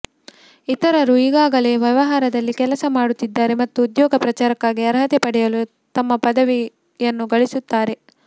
ಇತರರು ಈಗಾಗಲೇ ವ್ಯವಹಾರದಲ್ಲಿ ಕೆಲಸ ಮಾಡುತ್ತಿದ್ದಾರೆ ಮತ್ತು ಉದ್ಯೋಗ ಪ್ರಚಾರಕ್ಕಾಗಿ ಅರ್ಹತೆ ಪಡೆಯಲು ತಮ್ಮ ಪದವಿಯನ್ನು ಗಳಿಸುತ್ತಾರೆ